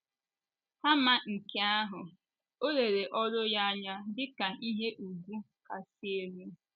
Kama nke ahụ, o lere oru ya anya dị ka ihe ùgwù kasị elu.